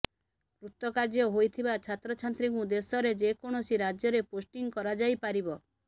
କୃତକାର୍ଯ୍ୟ ହୋଇଥିବା ଛାତ୍ରଛାତ୍ରୀଙ୍କୁ ଦେଶରେ ଯେକୌଣସି ରାଜ୍ୟରେ ପୋଷ୍ଟିଂ କରାଯାଇପାରିବ